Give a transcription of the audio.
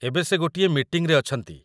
ଏବେ ସେ ଗୋଟିଏ ମିଟିଂରେ ଅଛନ୍ତି ।